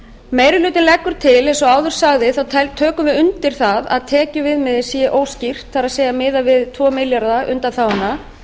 meiri hlutinn leggur til eins og áður sagði tökum við undir það að tekjuviðmiðið sé óskýrt það er miðað við tvö milljarða undanþáguna